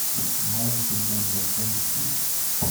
маленький будда поищи